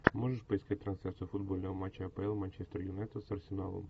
можешь поискать трансляцию футбольного матча апл манчестер юнайтед с арсеналом